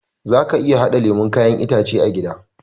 Zaka iya haɗa lemon kayan itace a gida